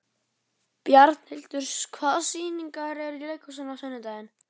Bjarnhildur, hvaða sýningar eru í leikhúsinu á sunnudaginn?